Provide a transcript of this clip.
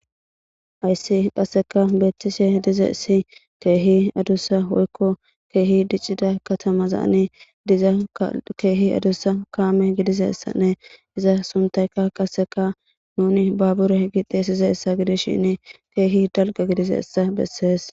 Ayssi qasseka beetishe diza issi keehi adussa woykko keehi diccida katamazaani diza keehi adussa kaame gidizessanne iza suntayka qasseka nuni babure gixe size ssa gidishinn keehi dalga gidize essa bessees